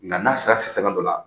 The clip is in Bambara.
Nka n'a sera sisanga dɔ la